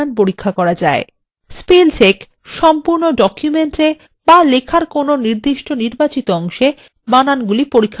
spell check সম্পূর্ণ document এ বা লেখার কোনো নির্বাচিত অংশে বানানগুলি পরীক্ষার জন্য ব্যবহার করা হয়